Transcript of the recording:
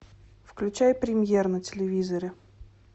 включай премьер на телевизоре